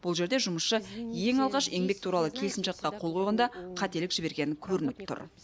бұл жерде жұмысшы ең алғаш еңбек туралы келісімшартқа қол қойғанда қателік жібергені көрініп тұр